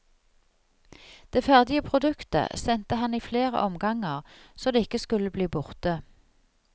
Det ferdige produktet sendte han i flere omganger, så det ikke skulle bli borte.